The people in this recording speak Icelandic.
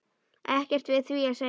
Ekkert við því að segja.